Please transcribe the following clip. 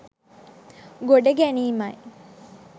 ගොඩ ගැනීමයි.